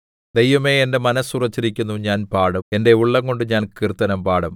ദൈവമേ എന്റെ മനസ്സ് ഉറച്ചിരിക്കുന്നു ഞാൻ പാടും എന്റെ ഉള്ളംകൊണ്ട് ഞാൻ കീർത്തനം പാടും